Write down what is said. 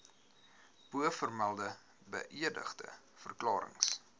bovermelde beëdigde verklarings